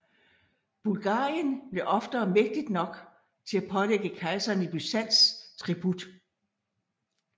Bulgarien blev oftere mægtigt nok til at pålægge kejseren i Byzans tribut